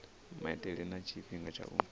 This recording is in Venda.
maitele na tshifhinga tsha u